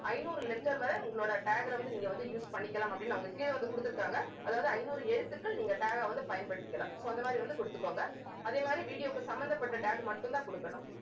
ஐநூறு letter வரை உங்களோட tag ல வந்து நீங்க வந்து use பண்ணிக்கலாம் அப்படின்னு அவங்க கீழே வந்து கொடுத்திருக்காங்க. அதாவது ஐநூறு எழுத்துக்கள் நீங்க tag அ வந்து பயன்படுத்திக்கலாம் so அந்த மாதிரி வந்து கொடுத்துக்கோங்க. அதே மாதிரி video க்கு சம்மந்தப்பட்ட tag மட்டும்தான் கொடுக்கணும்